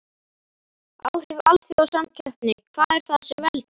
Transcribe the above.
Áhrif alþjóðasamkeppni Hvað er það sem veldur?